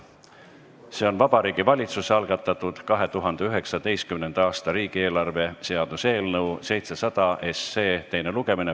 See on Vabariigi Valitsuse algatatud 2019. aasta riigieelarve seaduse eelnõu 700 SE teine lugemine.